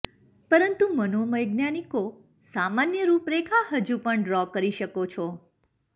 પરંતુ મનોવૈજ્ઞાનિકો સામાન્ય રૂપરેખા હજુ પણ ડ્રો કરી શકો છો